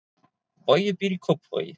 Bogi býr í Kópavogi.